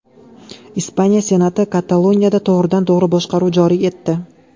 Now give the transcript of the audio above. Ispaniya Senati Kataloniyada to‘g‘ridan-to‘g‘ri boshqaruv joriy etdi.